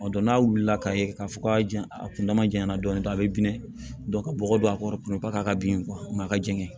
Ɔ dɔn n'a wulila ka ye k'a fɔ k'a janya a kundama janya na dɔɔnin dɔɔnin a bɛ bilen ka bɔgɔ don a kɔrɔ k'a ka bin a ka jɛngɛ